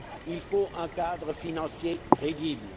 il faut un cadre financier crédible.